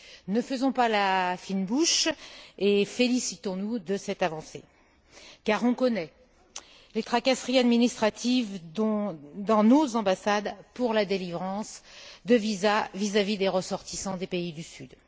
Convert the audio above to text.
Ne faisons pas la fine bouche et félicitons nous de cette avancée, car on connaît les tracasseries administratives dans nos ambassades pour la délivrance de visa à des ressortissants de pays du sud.